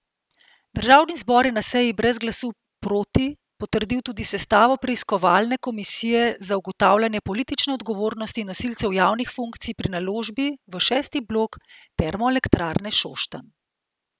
Državni zbor je na seji brez glasu proti potrdil tudi sestavo preiskovalne komisije za ugotavljanje politične odgovornosti nosilcev javnih funkcij pri naložbi v šesti blok Termoelektrarne Šoštanj.